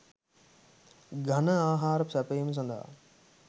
ඝන ආහාර සැපැයීම සඳහා